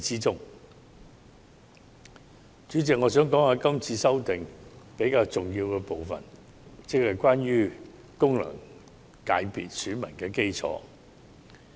主席，我想談談今次修訂比較重要的部分，即功能界別選民基礎。